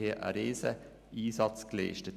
Sie hat einen riesigen Einsatz geleistet.